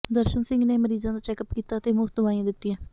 ਦਰਸ਼ਨ ਸਿੰਘ ਨੇ ਮਰੀਜਾਂ ਦਾ ਚੈਕਅੱਪ ਕੀਤਾ ਅਤੇ ਮੁਫਤ ਦਵਾਈਆਂ ਦਿੱਤੀਆਂ